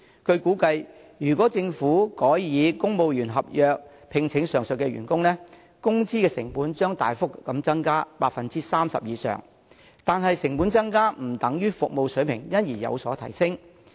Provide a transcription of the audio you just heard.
據估計，如果政府改以公務員合約聘請上述員工，工資成本將大幅增加 30% 以上，但成本增加不等於服務水平因而有所提升。